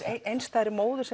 einstæðri móður